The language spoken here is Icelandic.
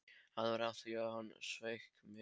Það var af því að hann sveik mig.